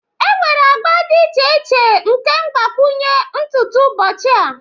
enwere agba dị iche iche nke mgbakwunye ntutu ụbọchị a